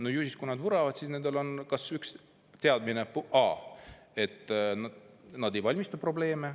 No ju siis, kui nad vuravad, on nendel teadmine, et nad ei valmista probleeme.